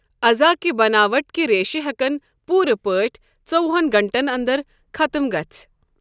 عضا كہِ بناوٹ كہِ ریشہٕ ہیكن پوٗرٕ پٲٹھۍ ژووُہن گھنٹَن انٛدَر ختٕم گٕٔژِھِ ۔